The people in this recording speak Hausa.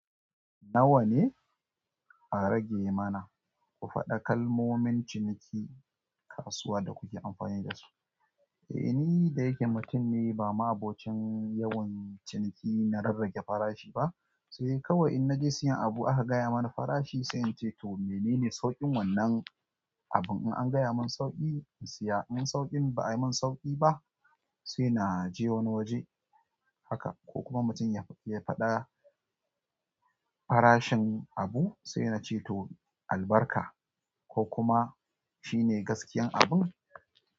Nawa ne a rage mana ku faɗa kalmomin ciniki kasuwa da ku ke amfani da su eh ni dayake mutum ne ba ma'abocin ciniki da rarraba farashi ba sai dai kawai in naje siyan abu aka gaya mana farashi, sai nace to menene sauƙin wannan abun? In an gaya mun sauƙi in siya, in sauƙin ba'a yi mun sauƙi ba, sai na je wani waje haka. Ko kuma mutum ya faɗa farashin abu, sai nace to albarka ko kuma shine gaskiyan abun.